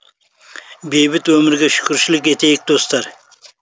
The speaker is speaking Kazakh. бейбіт өмірге шүкіршілік етейік достар